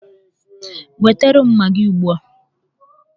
Wetara m magịị ugbu a!